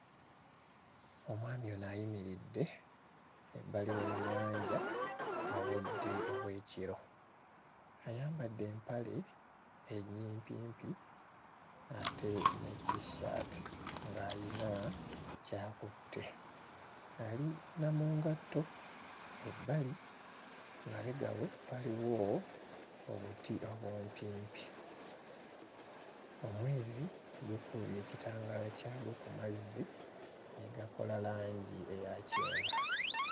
Omwami ono ayimiridde wabbali w'ennyanja obudde obw'ekiro ayambadde empale ennyimpimpi ate ne t-shirt ng'ayina ky'akutte ali na mu ngatto. Ebbali emabega we waliwo obuti obumpimpi. Omwezi gukubye ekitangaala kyagwo ku mazzi ne gakola langi eya kyenvu.